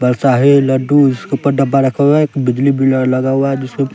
बरसाही लड्डू जिसके ऊपर डब्बा रखा हुआ है एक बिजली बिलर लगा हुआ है जिसके--